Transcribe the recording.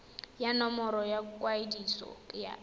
ya nomoro ya kwadiso ya